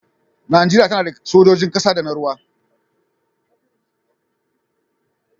Najeriya tana da sojojin ƙasa da na ruwa.